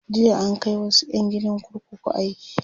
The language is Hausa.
jiya an Kai wasu ƴan gidan kurkuku aiki